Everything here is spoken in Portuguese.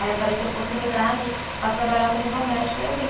Aí apareceu a oportunidade para trabalhar como doméstica e eu vim.